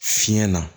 Fiɲɛ na